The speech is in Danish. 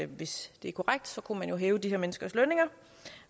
hvis det er korrekt så kunne man jo hæve de her menneskers lønninger